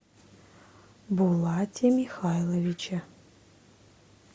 булате михайловиче